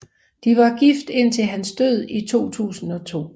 De var gift indtil hans død i 2002